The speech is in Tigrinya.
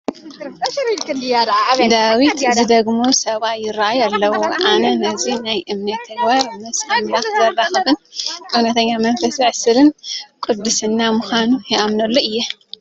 ዳዊት ዝደግሙ ሰብኣይ ይርአዩ ኣለዉ፡፡ ኣነ እዚ ናይ እምነት ተግባር ምስ ኣምላኽ ዘራኽብን እውነተኛ መንፈስ ዘዕስልን ቅድስና ምዃኑ ይኣምነሉ እየ፡፡